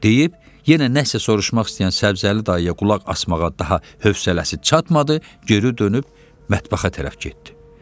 Deyib yenə nəsə soruşmaq istəyən səbzəli dayıya qulaq asmağa daha hövsələsi çatmadı, geri dönüb mətbəxə tərəf getdi.